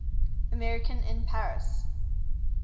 american in paris